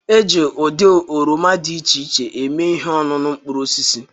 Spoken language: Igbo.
E ji ụdị oroma dị iche iche eme ihe ọñuñu mkpụrụosisi